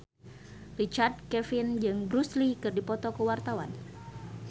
Richard Kevin jeung Bruce Lee keur dipoto ku wartawan